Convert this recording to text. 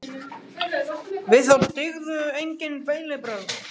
Við þá dygðu enginn bellibrögð.